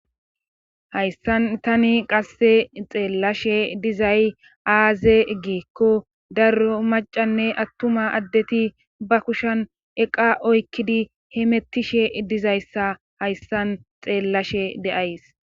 hayssan tani qasse xeellashe dizay aaze giikko daro maccanne attuma addeti ba kushan eqaa oykkidi hemettishe dizayssa hayssan xeellashe de7ays.